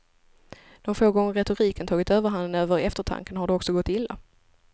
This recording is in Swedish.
De få gånger retoriken tagit överhanden över eftertanken har det också gått illa.